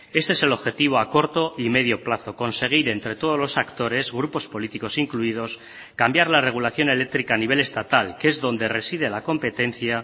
este es el objetivo a corto y medio plazo conseguir entre todos los actores grupos políticos incluidos cambiar la regulación eléctrica a nivel estatal que es donde reside la competencia